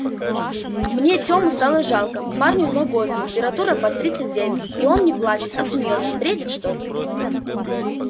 мне тему самому жалко парню два года температура под тридцать девять и он не плачет а смеётся бредит что ли